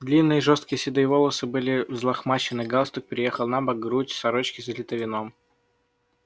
длинные жёсткие седые волосы были взлохмачены галстук переехал набок грудь сорочки залита вином